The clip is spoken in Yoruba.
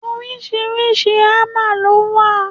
Oríṣiríṣi hámà lọ wà.